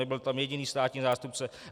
Nebyl tam jediný státní zástupce.